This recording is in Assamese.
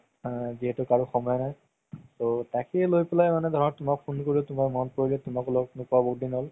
যিহেতু কাৰো সময় নাই so তাকেই লই পেলাই মানে তোমাক phone কৰিলো তুমাৰ মনত পৰিলে তুমাকো লগ নোপোৱা বহুত দিন হ'ল